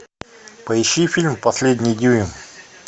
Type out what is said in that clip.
поищи фильм последний дюйм